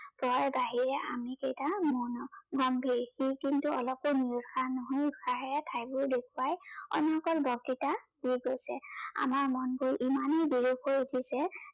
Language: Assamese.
জয়ৰ বাহিৰে আমি কেইটা মৌন, গম্ভীৰ। সি কিন্তু অলপো নিৰোৎসাহ নহৈ উৎসাহেৰে ঠাইবোৰ দেখুৱাই অনৰ্গল বক্তৃতা দি গৈছে। আমাৰ মনবোৰ ইমানেই বিৰূপ হৈ উঠিছে